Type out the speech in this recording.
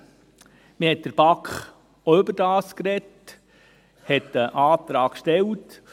In der BaK hat man auch darüber gesprochen und einen Antrag gestellt.